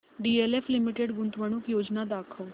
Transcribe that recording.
DLF limited गुंतवणूक योजना दाखव